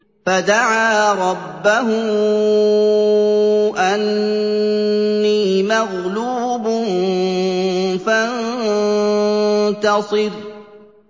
فَدَعَا رَبَّهُ أَنِّي مَغْلُوبٌ فَانتَصِرْ